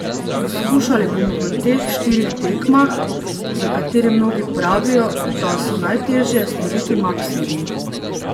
Skušali bomo v teh štirih tekmah, za katere mnogi pravijo, da so najtežje, storiti maksimum.